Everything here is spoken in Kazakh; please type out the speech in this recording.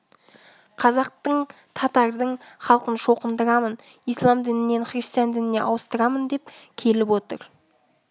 қазақтың татардың халқын шоқындырамын ислам дінінен христиан дініне ауыстырамын деп келіп отыр